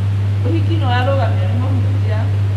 ũhiki nĩwarũgamio nĩ mũhunjia